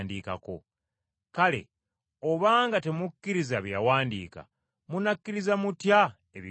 Kale obanga temukkiriza bye yawandiika, munakkiriza mutya ebigambo byange?”